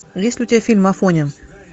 есть ли у тебя фильм афоня